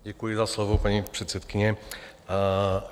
Děkuji za slovo, paní předsedkyně.